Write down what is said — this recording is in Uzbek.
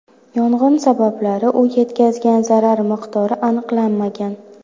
Yong‘in sabablari u yetkazgan zarar miqdori aniqlanmagan.